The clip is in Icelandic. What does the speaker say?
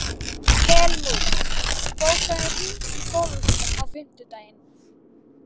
Helmút, bókaðu hring í golf á fimmtudaginn.